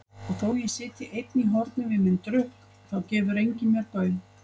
Og þótt ég sitji einn í horni við minn drukk þá gefur enginn mér gaum.